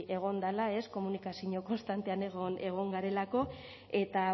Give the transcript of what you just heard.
egon dela komunikazino konstantean egon garelako eta